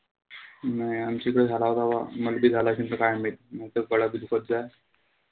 नाई आमच्या इकडे झाला होता बा. मल बी झाला अशीन त काय माहित.